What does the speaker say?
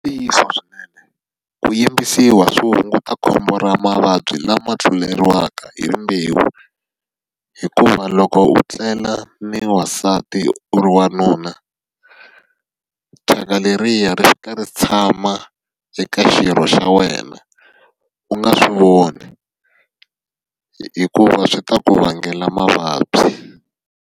I ntiyiso swinene. Ku yimbisiwa swi hunguta khombo ra mavabyi lama tluletiwaka hi rimbewu hikuva loko u tlela ni wasati u ri wanuna, thyaka leriya ri fika ri tshama ri ka xirho xa wena, u nga swi voni. Hikuva swi ta ku vangela mavabyi.